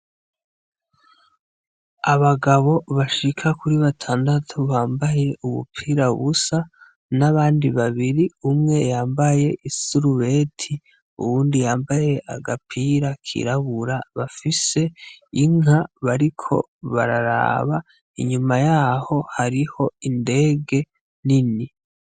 Abagabo bashika kuri batandatu bambaye ubupira busa nabandi babibir umwe yambaye isurubeti uwundi yambaye agapira kirabura bafise inka bariko bararaba inyuma yaho hariho indege nini.